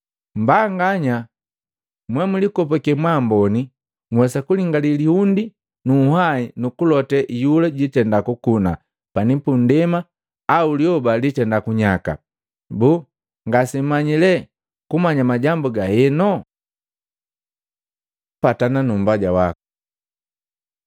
Mmbanganya mwemlikopake mwaamboni! Nhwesa kulingali lihundi nu unhwahi nukulote iyula jitenda kukuna pani pundema au lyoba litenda kunyaka. Boo ngasemmanyi lee kumanya majambu gaheno? Patana nu mmbaya waku Matei 5:25-26